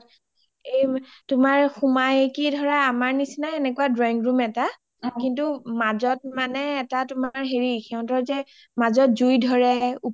এই সোমাইকি ধৰা আমাৰ নিচিনা drawing room এটা কিন্তু মাজত মানে এটা হেৰি সিহিতৰ যে মাজত যে জুই ধৰে